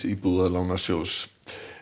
Íbúðalánasjóðs